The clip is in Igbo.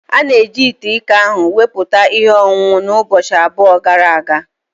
A na-eji ite iko ahụ wụputa ihe ọṅụṅụ ahụ ụbọchị abụọ gara aga.